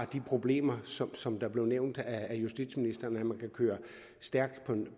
de problemer som som blev nævnt af justitsministeren nemlig at man kan køre stærkt